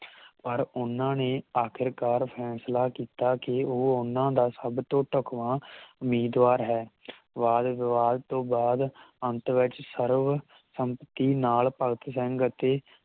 ਪਰ ਉਹਨਾਂ ਨੇ ਆਖਿਰਕਾਰ ਫੈਸਲਾਂ ਕੀਤਾ ਕਿ ਉਹ ਉਹਨਾਂ ਦਾ ਸਬਤੋਂ ਧੱਕਵਾਂ ਉਮੀਦਵਾਰ ਹੈ ਵਾਦ ਵਿਵਾਦ ਤੋਂ ਬਾਅਦ ਅੰਤ ਵਿਚ ਸਰਵ ਸੰਮਤੀ ਨਾਲ ਭਗਤ ਸਿੰਘ ਅਤੇ